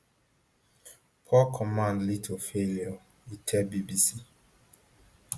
poor command lead to failure e tell bbc